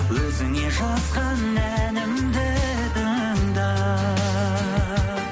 өзіңе жазған әнімді тыңда